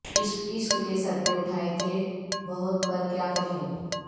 عشق کے صدمے اٹھائے تھے بہت پر کیا کہیں